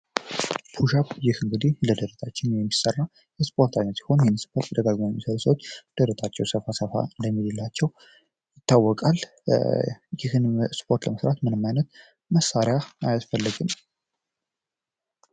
ፑሽ አፕ ይህ እንግዲህ ለደረሳችን የሚሰራ የስፖርት ዓይነት ሲሆን የተደጋጋሚ ኩሻት የሚሰሩ ሰዎች ደረታቸው ሰፋ ሰፋ እንደሚልላቸው ይታወቃል ይህንን ስፖርት ለመስራት ምንም አይነት መሳሪያ አያስፈልግም።